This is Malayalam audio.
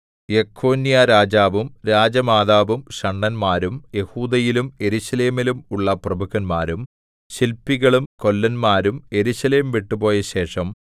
യെഖൊന്യാരാജാവും രാജമാതാവും ഷണ്ഡന്മാരും യെഹൂദയിലും യെരൂശലേമിലും ഉള്ള പ്രഭുക്കന്മാരും ശില്പികളും കൊല്ലന്മാരും യെരൂശലേം വിട്ടുപോയ ശേഷം